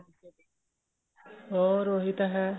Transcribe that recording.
ਹੋਰ ਉਹੀ ਤਾਂ ਹੈ